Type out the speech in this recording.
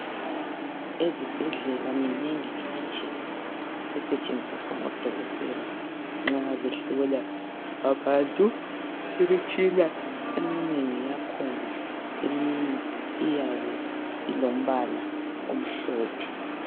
Ezibhedlela minengi imitshina esentshenziswa ngodokotela nxa behlola abantu. Imitshina eminengi yakhona eminye iyabe ilombala omhlophe.